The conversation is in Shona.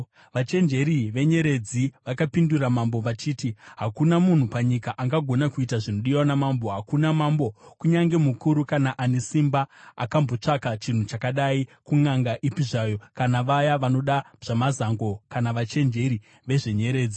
Vachenjeri vezvenyeredzi vakapindura mambo vachiti, “Hakuna munhu panyika angagona kuita zvinodiwa namambo! Hakuna mambo, kunyange mukuru kana ane simba, akambotsvaka chinhu chakadai kunʼanga ipi zvayo kana vaya vanoita zvamazango kana vachenjeri vezvenyeredzi.